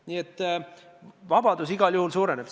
Nii et vabadus igal juhul suureneb.